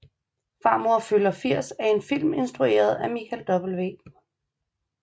Farmor fylder 80 er en film instrueret af Michael W